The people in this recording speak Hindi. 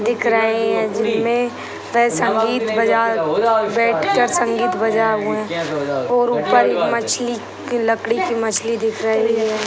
दिख रही है जिनमें वे संगीत बजा बैठ कर संगीत बजा हुए है और ऊपर मछली की लकड़ी की मछली दिख रही है।